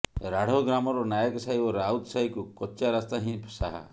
ରାଢ଼ୋ ଗ୍ରାମର ନାୟକସାହି ଓ ରାଉତ ସାହିକୁ କଚାରାସ୍ତା ହିଁ ସାହା